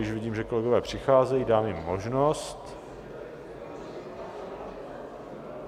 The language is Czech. Již vidím, že kolegové přicházejí, dáme jim možnost.